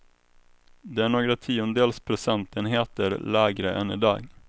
Det är några tiondels procentenheter lägre än i dag.